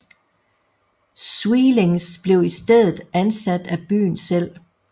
Sweelinck blev i stedet ansat af byen selv